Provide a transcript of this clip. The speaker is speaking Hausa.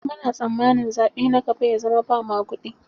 Muna tsamanin zaɓe na gaba ya zama ba maguɗi.